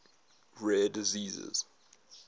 rare diseases